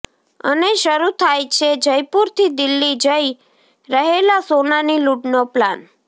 અને શરૂ થાય છે જયપુરથી દિલ્હી જઈ રહેલા સોનાની લૂંટનો પ્લાન